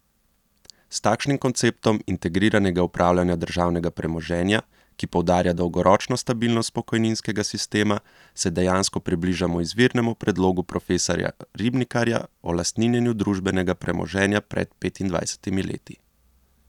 S takšnim konceptom integriranega upravljanja državnega premoženja, ki poudarja dolgoročno stabilnost pokojninskega sistema, se dejansko približamo izvirnemu predlogu profesorja Ribnikarja o lastninjenju družbenega premoženja pred petindvajsetimi leti.